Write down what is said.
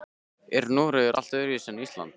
Er Noregur allt öðruvísi en Ísland?